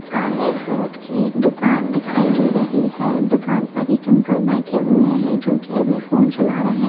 सामने एक फ्रूट की एक दूकान दिखाई दे रही है दूकान पर एक अंकल बेठे हुए है जो की अभी फोंन चला रहे है।